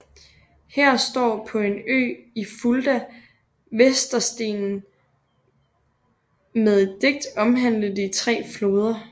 Her står på en ø i Fulda Weserstenen med et digt omhandlende de tre floder